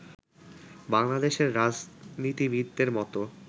বাংলাদেশের রাজনীতিবিদদের মতো